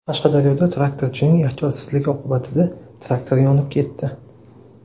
Qashqadaryoda traktorchining ehtiyotsizligi oqibatida traktor yonib ketdi.